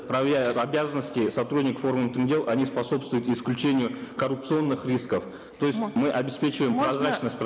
и обязанности сотрудников органов внутренних дел они способствуют исключению коррупционных рисков то есть мы обеспечиваем